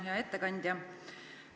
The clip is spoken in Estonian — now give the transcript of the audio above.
Hea ettekandja!